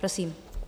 Prosím.